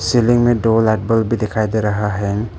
Ceiling में दो light bulb भी दिखाई दे रहा है।